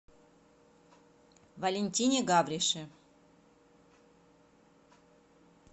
валентине гаврише